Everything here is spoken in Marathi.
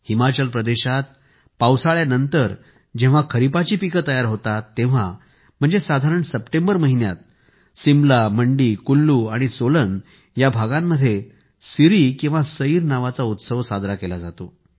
हिमाचल प्रदेशात पावसाळ्यानंतर जेव्हा खरीपाची पिके तयार होतात तेव्हाम्हणजे साधारण सप्टेंबर महिन्यात सिमला मंडी कुल्लू आणि सोलन या भागांमध्ये सिरी किंवा सैर नावाचा उत्सव साजरा केला जातो